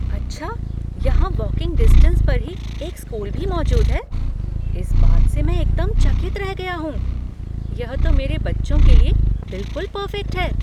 "अच्छा? यहाँ walking distance पर ही एक स्कूल भी मौजूद है? इस बात से मैं एकदम चकित रह गया हूँ। यह तो मेरे बच्चों के लिए बिलकुल पर्फ़ेक्ट है।